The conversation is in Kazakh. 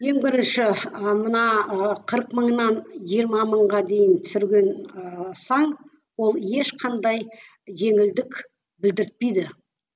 ең бірінші ы мына ы қырық мыңнан жиырма мыңға дейін түсірген ыыы сан ол ешқандай жеңілдік білдіртпейді